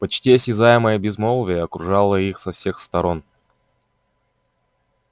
почти осязаемое безмолвие окружало их со всех сторон